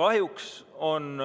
Kahjuks on